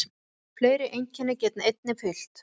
Fleiri einkenni geta einnig fylgt.